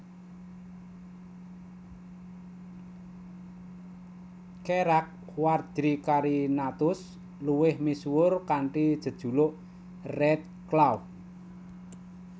Cherax Quadricarinatus luwih misuwur kanthi jejuluk Redclaw